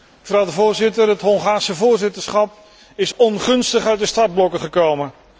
Mevrouw de Voorzitter, het Hongaarse voorzitterschap is ongunstig uit de startblokken gekomen.